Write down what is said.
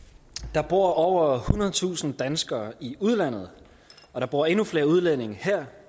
der bor over ethundredetusind danskere i udlandet og der bor endnu flere udlændinge her